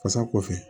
Fasa kɔfɛ